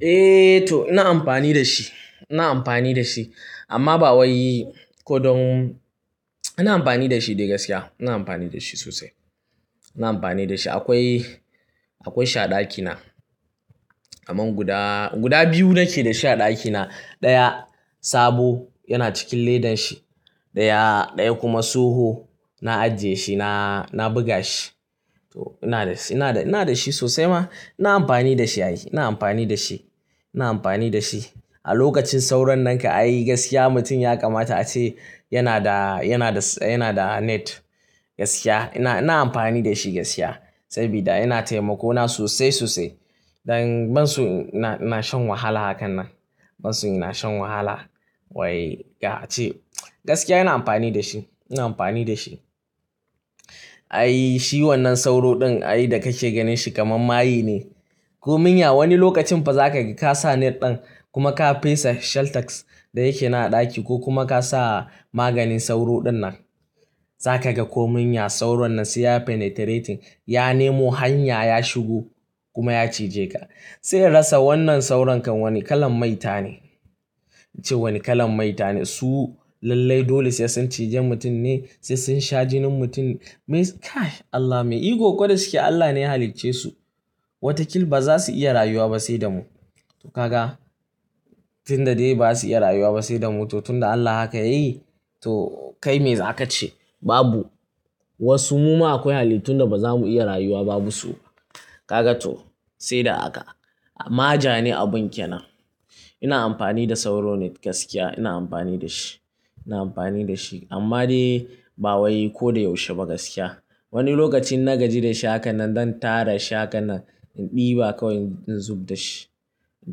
Eh to ina amfani da shi, ina amfani da shi amma ba wai ko don-- ina amfani da shi dai gaskiya, ina amfani da shi sosai. Ina amfani da shi. Akwai, akwai shi a ɗakina, amma guda, guda biyu nake da sha ɗakina. Ɗaya sabo yana cikin ledan shi, ɗaya, ɗaya kuma tsoho na ajiye shi, na, na buga shi. To ina da shi, ina da, ina da shi sosai ma. Ina amfani da shi ai, ina amfani da shi, ina amfani da shi. A lokacin sauron nan ka a yi gaskiya mutum ya kamata a ce yana da, yana da, yana da net gaskiya. Ina, ina amfani da shi gaskiya, sabida yana taimako na sosai sosai. Dan ban so na, na shan wahala hakan nan, ban so ina shan wahala. Wai ga a ce gaskiya ina amfani da shi, ina amfani da shi. Ai shi wannan sauro ɗin ai da kake ganin shi kamar maye ne. Ko manya wani lokacin fa za ka ga ka sa net ɗin kuma ka fesa shelltex da yake na ɗaki ko kuma ka sa maganin sauro dinnan. Za ka ga komin ya, sauron nan sai ya penetrating, ya nemo hanya ya shigo kuma ya cije ka. Sai inrasa wannan saurankan wani kalan maita ne. Na ce wani kalan maita ne. Su lallai dole sai sun cije mutum ne, sai sun sha jinin mutum. Me kai Allah, me iko da su ke? Allah ne ya halicce su. Watakil ba za su iya rayuwa ba sai da mu. To ka ga? Tun da dai ba za su iya rayuwa ba sai da mu, to tun da Allah haka yayi to kai me za ka ce? Babu. Wasu muma akwai halittu da ba za mu iya rayuwa ba busu. Ka ga to? Sai da haka. Ma ja ne abun ke nan. Ina amfani da sauro net gaskiya, ina amfani da shi, ina amfani da shi. Amma dai ba wai ko da yaushe ba gaskiya. Wani lokacin na gaji da shi hakan nan don tara shi hakan nan in ɗiba kawai in zub da shi. In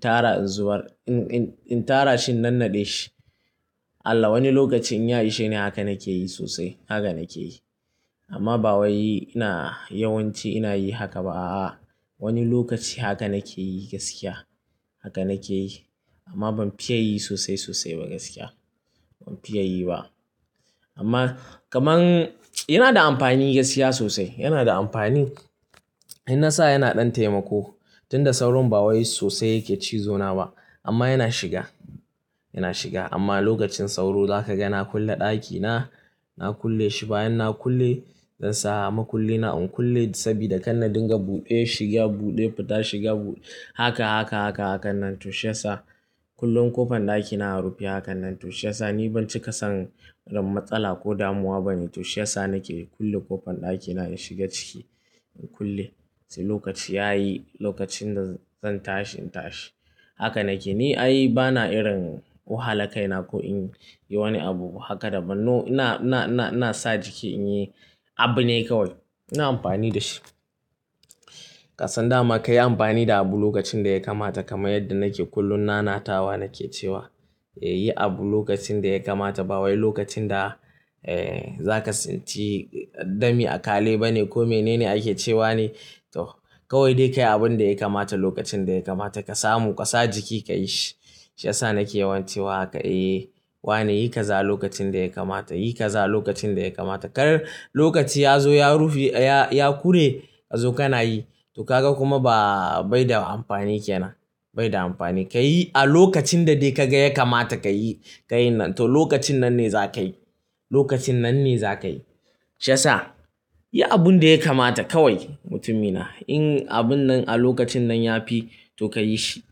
tara in zubar, in, in, in tara shi in nannaɗe shi. Allah wani lokac in ya i shine haka nake yi sosai, haka nake yi. Amma ba wai ina yawanci ina yi haka ba a'a. Wani lokaci haka nake yi gaskiya, haka nake yi. Amma ban fiya yi sosai sosai ba gaskiya, ban fiya yi ba. Amma kamar yana da amfani gaskiya sosai, yana da amfani. In na sa yana ɗan taimako. Tun da sauro ba wai sosai yake cizo na ba, amma yana shiga, yana shiga. Amma lokacin sauro za ka ga na kulle ɗakina, na kulle shi. Bayan na kulle, zan sa ma kulle na in kulle sabida kande dinga buɗe, shiga buɗe, fita shiga buɗe. Haka, haka, haka hakan nan. To shi ya sa kullum ƙofan ɗakina a rufe hakan nan. To shi ya sa ni ban cika san ran matsala ko damuwa bane. To shi ya sa nake kulle ƙofan ɗakina in shiga ciki, in kulle. Sai lokaci ya yi, lokacin da zan tashi in tashi. Haka nake. Ni ai bana irin wahala kai na ko in yi wani abu haka da ban. No ina, ina, ina, ina sa jiki in yi abu ne kawai. Ina amfani da shi. Kasan dama ka yi amfani da abu lokacin da ya kamata kamar yadda nake kullum nanatawa nake cewa, yi abu lokacin da ya kamata ba wai lokacin da, eh, za ka tsinci dami a kale bane ko mene ne ake cewa ne. To kawai dai ka yi abun da ya kamata lokacin da ya kamata ka samu ka sa jiki ka yi shi. Shi ya sa nake yawanci wa haka. Eh wane yi kaza lokacin da ya kamata, yi kaza lokacin da ya kamata. Kar lokaci ya zo ya rufi, ya, ya kure ka zo kana yi. To ka ga kuma ba, bai da amfani ke nan, bai da amfani. Ka yi a lokacin da dai ka ga ya kamata ka yi, ka yi nan. To lokacin nan ne za ka yi, lokacin nan ne za ka yi. Shi ya sa yi abun da ya kamata kawai mutumina. In abun nan a lokacin nan ya fi, to ka yi shi.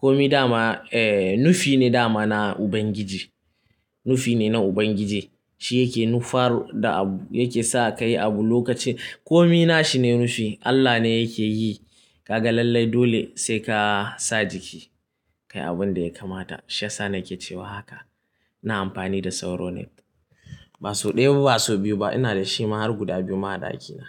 Komi dama, eh nufi ne dama na Ubangiji, nufi ne na Ubangiji. Shi yake nufaru da abu, yake sa ka yi abu lokacin. Komi na shi ne nufi. Allah ne yake yi. Ka ga lallai dole sai ka sa jiki ka yi abun da ya kamata. Shi ya sa nake cewa haka. Ina amfani da sauro net. Ba sau ɗaya ba, ba sau biyu ba ina da shi ma har guda biyu ma a ɗakina.